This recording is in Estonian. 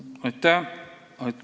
Aitäh!